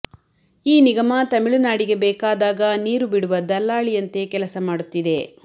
ಈ ನಿಗಮ ತಮಿಳುನಾಡಿಗೆ ಬೇಕಾದಾಗ ನೀರು ಬಿಡುವ ದಲ್ಲಾಳಿಯಂತೆ ಕೆಲಸ ಮಾಡುತ್ತಿದೆ